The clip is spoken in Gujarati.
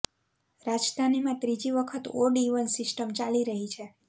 રાજધાનીમાં ત્રીજી વખત ઓડ ઈવન સિસ્ટમ ચાલી રહી છે